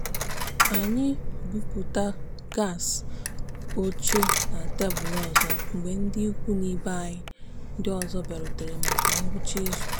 anyị bụpụta gasị oche na tebụl ọzọ mgbe ndị ikwu na ibe anyị ndị ọzọ bịarutere maka ngwụcha izu.